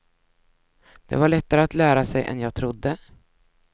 Det var lättare att lära sig än jag trodde.